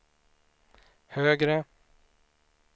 högre